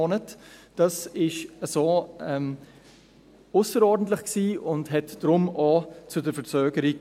Dies war ausserordentlich und führte deshalb auch zu dieser Verzögerung.